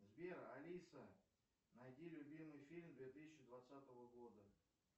сбер алиса найди любимый фильм две тысячи двадцатого года